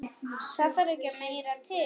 Það þarf ekki meira til.